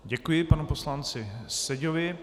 Děkuji panu poslanci Seďovi.